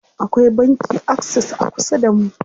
Akwai banki Access a kusa damu.